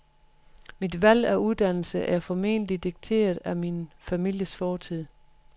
Mit valg af uddannelse er formentlig dikteret af min families fortid.